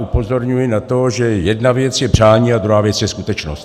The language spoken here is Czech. Upozorňuji na to, že jedna věc je přání a druhá věc je skutečnost.